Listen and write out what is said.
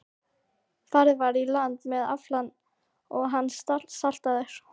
Farið var í land með aflann og hann saltaður.